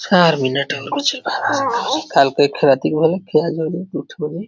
चार मिनट